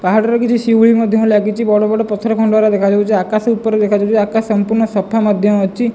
ପାହାଡ଼ ରେ କିଛି ଶିଉଳି ମଧ୍ୟ ଲାଗିଚି। ବଡ ବଡ ପଥର ଖଣ୍ଡ ଗୁରା ଦେଖାଯାଉଚି। ଆକାଶ ଉପରେ ଦେଖାଯାଉଚି। ଆକାଶ ସଂପୂର୍ଣ୍ଣ ସଫା ମଧ୍ୟ ଅଛି।